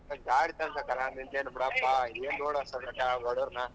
ಗಾಡಿಗ್ ತಗೋಂಬೇಕಲ್ಲ ನಿಂಗೇನು ಬಿಡಪ್ಪ ಏನ್ ನೋಡ್ ವಿಶ್ವ ಬಡವರ್ನ.